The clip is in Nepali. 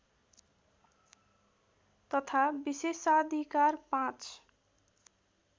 तथा विशेषाधिकार ५